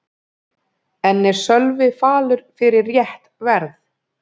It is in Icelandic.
En er Sölvi falur fyrir rétt verð?